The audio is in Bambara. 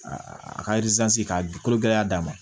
Aa a ka k'a di kolo gɛlɛya d'a ma